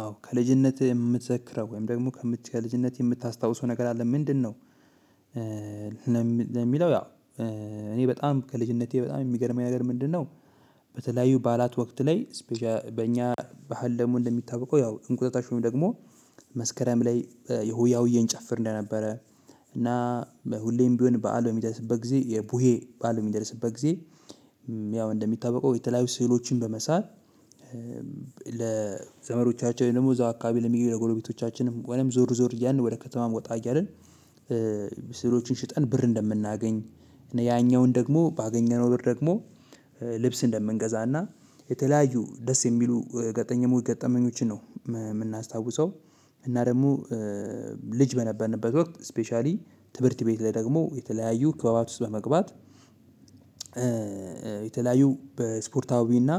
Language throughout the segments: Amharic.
አዎ ከልጅነትህ የምትዘክረው ወይም ደሞ ከምትችለው ልጅነት የምታስታውሰው ነገር አለ ምንድነው? ለሚለው ያ እኔ በጣም ከልጅነቴ በጣም ሚገርመኝ ነገር ምንድነው? በተለያዩ በዓላት ወቅት ላይ በኛ በሀል ደሞ እንደሚታወቀው እንቁጣጣሽ ወይም ደሞ መስከረም ላይ የሆያሆየ እንጨፍር እንደነበረ እና ሁሌም ቢሆን በዓል በሚደርስበት ጊዜ የቡሄ በዓል ሚደርስበት ጊዜ። ያው እንደሚታወቀው የተለያዩ ስዕሎችን በመሳል ለዘመዶቻችን ወይም ደሞ እዛው አካባቢ ለሚገኙ ለጎረቤቶቻችንም ወይም ዞር ዞር እያልን ወደ ከተማ ወጣ እያን ስሎችን ሽጠን ብር እንደምናገኝ። እና ያኛውን ደሞ ባገኘነው ብር ደግሞ ልብስ እንደምንገዛና የተለያዩ ደስ የሚሉ ገጠኘ ገጠመኞችን ነው ምናስታውሰው። እና ደሞ ልጅ በነበርንበት ወቅት ስፔሻሊ ትምህርት ቤት ላይ ደግሞ የተለያዩ ክበባት ውስጥ በመግባት። የተለያዩ በስፖርታዊና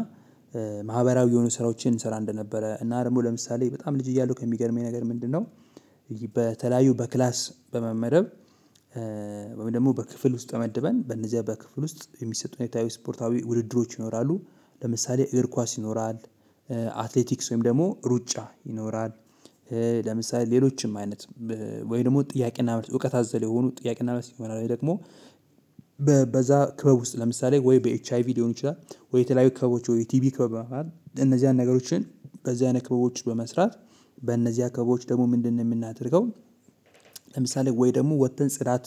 ማህበራዊ የሆኑ ስራዎችን እሰራ እንደነበረ እና ደሞ ለምሳሌ በጣም ልጅ እያለሁ ከሚገርመኝ ነገር ምንድነው? በተለያዩ በክላስ በመመረብ ወይም ደሞ በክፍል ውስጥ ተመድበን በነዚያ በክፍል ውስጥ የሚሰጡ ስፖርታዊ ውድድሮች ይኖራሉ። ለምሳሌ እግር ኳስ ይኖራል። አትሌቲክስ ወይም ደሞ ሩጫ ይኖራል። ለምሳሌ ሌሎችም አይነት ወይ ደሞ ጥያቄና መልስ እውቀት አዘል የሆኑ ጥያቄና መልስ ይሆናል። ወይ ደሞ በዛ ክበብ ውስጥ ለምሳሌ ወይ በኤች አይ ቪ ሊሆን ይችላል። ወይ የተለያዩ ክበቦች ወይ ቲቢ ክበብ መሆን እነዚህን ነገሮችን በዚህ አይነት ክበቦች በመስራት በእነዚያ ክበቦች ደሞ ምንድነው የምናደርገው? ለምሳሌ ወይ ደግሞ ወተን ጽዳት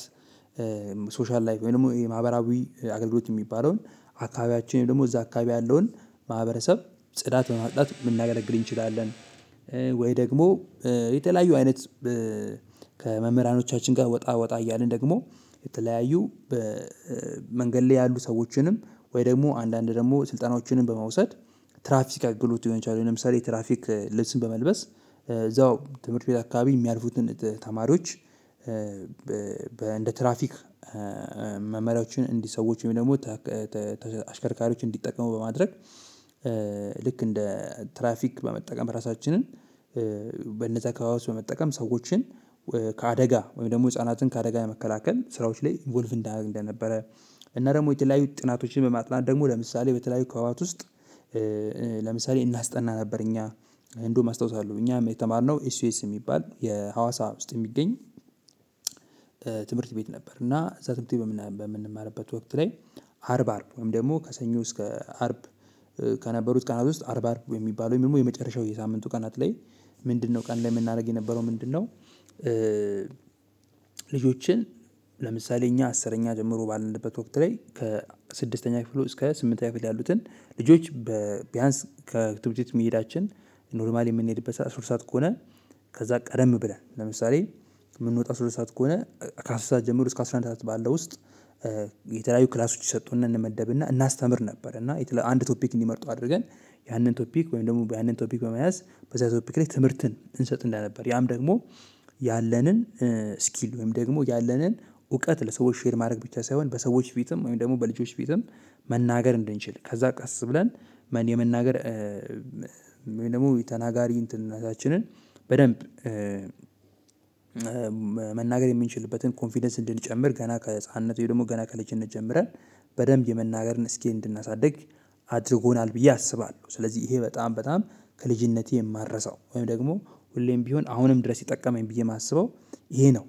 ሶሻል ላይፍ ወይ ደሞ ማህበራዊ አገልግሎት ሚባለውን አካባቢያችን ወይ ደሞ እዛ አካባቢ ያለውን ማህበረሰብ ጽዳት በማፅዳት ልናገለግል እንችላለን። ወይ ደግሞ የተለያዩ አይነት ከመምህራኖቻችን ጋ ወጣ ወጣ እያልን ደግሞ የተለያዩ በመንገድ ላይ ያሉ ሰዎችንም ወይ ደሞ አንዳንድ ደሞ ስልጠናዎችንም በመውሰድ ትራፊክ አግሎት ሊሆን ይችላል። ወይ ለምሳሌ ትራፊክ ልብስን በመልበስ እዛው ትምህርት ቤት አካባቢ የሚያልፉትን ተማሪዎች በእንደ ትራፊክ መመሪያዎችን እንዲህ ሰዎች ወይም ደሞ አሽከርካሪዎች እንዲጠቀሙ በማድረግ ልክ እንደ ትራፊክ በመጠቀም ራሳችንን በነዛ ከበባት በመጠቀም ሰዎችን ከአደጋ ወይም ደሞ ህፃናትን ከአደጋ የመከላከል ስራዎች ላይ ኢንቮልቭ እንዳረግ እንደነበረ። እና ደሞ የተለያዩ ጥናቶችን በማጥናት ደሞ ለምሳሌ በተለያዩ ክበባት ውስጥ ለምሳሌ እናስጠና ነበር እኛ እንደውም አስታውሳለሁ እኛም የተማርነው ኤስ ዩ ኤስ ሚባል የሀዋሳ ውስጥ ሚገኝ። ትምህርት ቤት ነበር እና እዛ ትምህርት ቤት በምንማርበት ወቅት ላይ። አርብ አርብ ወይም ደሞ ከሰኞ እስከ አርብ ከነበሩት ቀናት ውስጥ አርብ አርብ ወይ ሚባሉ ወይም ደሞ የመጨረሻው የሳምንቱ ቀናት ላይ። ምንድነው ቀን ላይ ምናረግ የነበረው ምንድነው? ልጆችን ለምሳሌ እኛ አስረኛ ጀምሮ ባለነበት ወቅት ላይ ከስድስተኛ ክፍል እስከ ስምንተኛ ክፍል ያሉትን ልጆች በቢያንስ ከትምህርት ቤት መሄዳችን ኖርማሊ የምንሄድበት ሰዓት ሶስት ሰዓት ከሆነ ከዛ ቀደም ብለን ለምሳሌ ምንወጣው ሶስት ሰዓት ከሆነ ከአስር ሰዓት ጀምሮ እስከ አስራ አንድ ሰዓት ባለው ውስጥ። የተለያዩ ክላሶች ይሰጡን እና እንመደብና እናስተምር ነበር እና አንድ ቶፒክ እንዲመርጡ አድርገን ያንን ቶፒክ ወይም ደሞ ያንን ቶፒክ በመያዝ በዚያ ቶፒክ ላይ ትምህርትን እንሰጥ እንደነበር ያም ደሞ ያለንን ስኪል ወይም ደሞ ያለንን እውቀት ለሰዎች ሼር ማድረግ ብቻ ሳይሆን በሰዎች ፊትም ወይም ደሞ በልጆች ፊትም መናገር እንድንችል ከዛ ቀስ ብለን መን የመናገር ወይም ደሞ የተናጋሪ እንትንነታችን በደንብ መናገር የምንችልበትን ኮንፊደንስ እንድንጨምር ገና ከህፃንነቱ ወይም ደሞ ገና ከልጅነት ጀምረን በደንብ የመናገርን እስኪል እንድናሳድግ አድርጎናል። ብዬ አስባለሁ ስለዚህ እሄ በጣም በጣም ከልጅነቴ የማረሳው ወይም ደሞ ሁሌም ቢሆን አሁንም ድረስ የማስበው ይሄ ነው።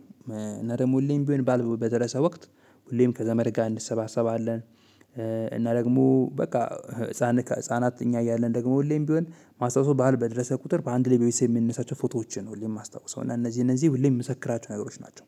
እና ደሞ ሁሌም ቢሆን ባልበደረሰ ወቅት ሁሌም ከዘመድ ጋር እንሰባሰባለን። እና ደግሞ በቃ ህፃን ከህፃናት እኛ እያለን ደሞ ሁሌም ቢሆን ማስታውሰው በዓል በደረሰ ቁጥር አንድ ላይ በቤተሰብ የምንነሳቸው ፎቶዎችን ነው ሁሌም ማስታውሰው እና እነዚህ እነዚህ ምዘክራቸው ናቸው